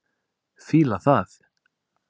Fíla það.